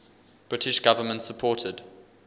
british government supported